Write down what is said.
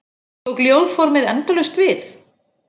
Tók ljóðformið endalaust við?